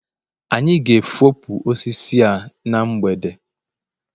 anyị ga-efopụ osisi a na mgbede